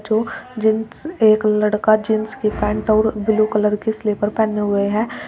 जो जीन्स एक लड़का जींस की पैंट और ब्लू कलर के स्लीपर पहने हुए हैं।